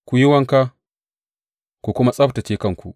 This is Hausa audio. Ku yi wanka ku kuma tsabtacce kanku.